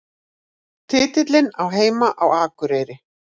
Titillinn á heima á Akureyri